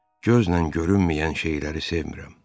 Gözlə görünməyən şeyləri sevmirəm.